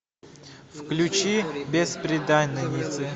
включи бесприданница